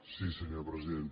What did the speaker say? sí senyor president